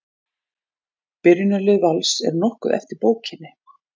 Byrjunarlið Vals er nokkuð eftir bókinni.